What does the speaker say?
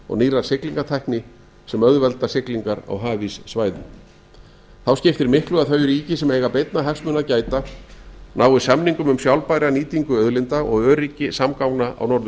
og nýrrar siglingartækni sem auðvelda siglingar á hafíssvæðum þá skiptir miklu að þau ríki sem eiga beinna hagsmuna að gæta að samningum um sjálfbæra nýtingu auðlinda og öryggi samgangna